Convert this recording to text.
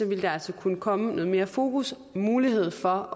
vil der altså kunne komme noget mere fokus og mulighed for